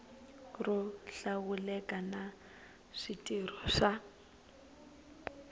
ro hlawuleka na switirho swa